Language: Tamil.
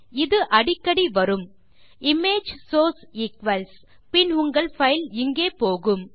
இது அடிக்கடி வரும்160 இமேஜ் சோர்ஸ் ஈக்வல்ஸ் பின் உங்கள் பைல் இங்கே போகும்